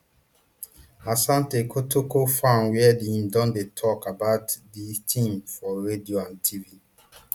asante kotoko fan wia im don dey tok about di team for radio and tv